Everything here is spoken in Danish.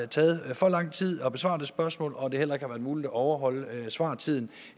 taget for lang tid at besvare det spørgsmål og at det heller ikke har været muligt at overholde svartiden